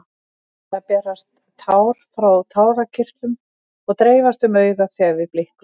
Venjulega berast tár frá tárakirtlum og dreifast um augað þegar við blikkum.